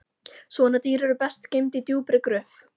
Svona dýr eru best geymd í djúpri gröf